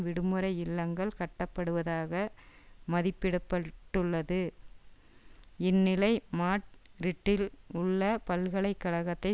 விடுமுறை இல்லங்கள் கட்டப்படுவதாக மதிப்பிடபட்டுள்ளது இந்நிலை மாட்ரிட்டில் உள்ள பல்கலை கழகத்தை